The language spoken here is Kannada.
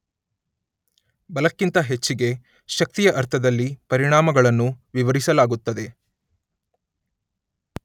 ಬಲಕ್ಕಿಂತ ಹೆಚ್ಚಿಗೆ ಶಕ್ತಿಯ ಅರ್ಥದಲ್ಲಿ ಪರಿಣಾಮಗಳನ್ನು ವಿವರಿಸಲಾಗುತ್ತದೆ.